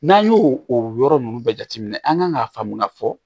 N'an y'o o yɔrɔ ninnu bɛɛ jateminɛ an kan k'a faamu ka fɔ